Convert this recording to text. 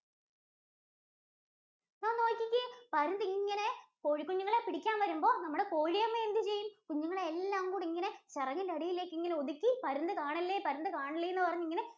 ദാ നോക്കിക്കേ, പരുന്തിങ്ങനെ കോഴികുഞ്ഞുങ്ങളെ പിടിക്കാന്‍ വരുമ്പോ നമ്മുടെ കോഴിയമ്മ എന്തുചെയ്യും? കുഞ്ഞുങ്ങളെയെല്ലാം കൂടിങ്ങനെ ചിറകിന്‍റടിയിലെക്കിങ്ങനെ ഒതുക്കി, പരുന്ത് കാണല്ലേ, പരുന്ത് കാണല്ലേ എന്നുപറഞ്ഞിങ്ങനെ